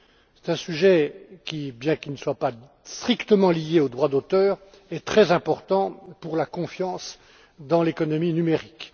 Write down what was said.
C'est un sujet qui, s'il n'est pas strictement lié au droit d'auteur, est très important pour la confiance dans l'économie numérique.